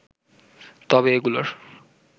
তবে এগুলোর